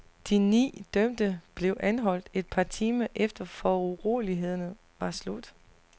De ni dømte blev anholdt et par timer efter urolighederne var slut.